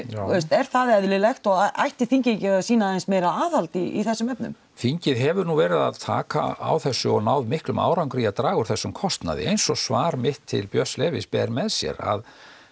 er það eðlilegt og ætti þingið ekki að sýna aðeins meira aðhald í þessum efnum þingið hefur nú verið að taka á þessu og náð miklum árangri í að draga úr þessum kostnaði eins og svar mitt til Björns Levís ber með sér að